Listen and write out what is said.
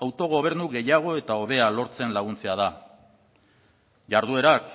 autogobernu gehiago eta hobea lortzen laguntzea da jarduerak